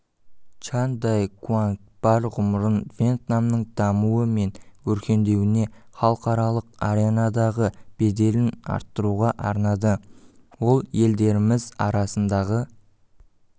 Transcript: чан дай куангбар ғұмырын вьетнамның дамуы мен өркендеуіне халықаралық аренадағы беделін арттыруға арнады ол елдеріміз арасындағы